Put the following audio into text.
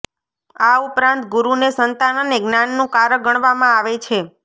આ ઉપરાંત ગુરુ ને સંતાન અને જ્ઞાન નુ કારક ગણવા મા આવે છે